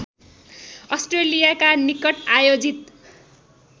अस्ट्रेलियाका निकट आयोजित